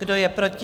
Kdo je proti?